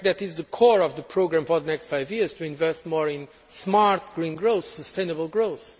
In fact, that is the core of the programme for the next five years to invest more in smart, green growth, sustainable growth.